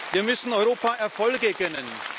Wir müssen Europa Erfolge gönnen.